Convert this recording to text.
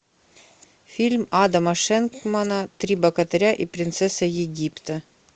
фильм адама шенкмана три богатыря и принцесса египта